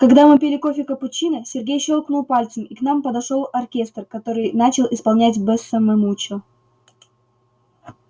когда мы пили кофе капучино сергей щёлкнул пальцем и к нам подошёл оркестр который начал исполнять бесса ме мучо